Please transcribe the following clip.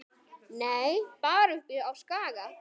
Nei, bara uppi á Skaga.